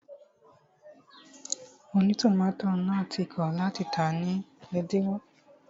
Ònítòmátò náà ti kọ̀ láti tàá ní ẹ̀dínwó